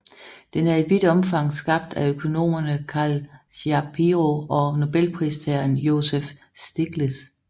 Den er i vidt omfang skabt af økonomerne Carl Shapiro og Nobelpristageren Joseph Stiglitz